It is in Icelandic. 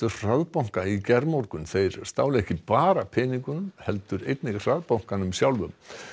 hraðbanka í gærmorgun þeir stálu ekki bara peningunum heldur einnig hraðbankanum sjálfum